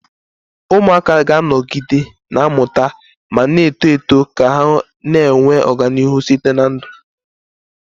Ụmụaka ga-anọgide na-amụta ma na-eto eto ka ha na-enwe ọganihu site na ndụ